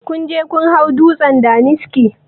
Kunje kun hau dutsen daniski?